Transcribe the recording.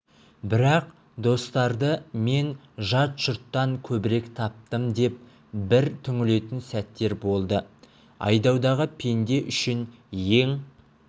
бірақ достарды мен жат жұрттан көбірек таптым деп бір түңілетін сәттер болды айдаудағы пенде үшін ең